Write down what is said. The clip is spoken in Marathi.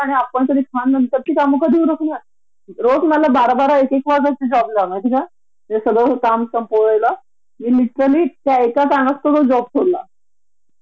प्रचंड त्रास होतो आणि मनस्ताप होतो तो वेगळा म्हणजे न आपण घरच्यांना वेळ देऊ शकतो न कंपनी एक्स्ट्रा थांबवल्यामुळे न तिथे तो प्रॉडक्टटिव्ह जो टाइम असतो तो वेस्ट होतो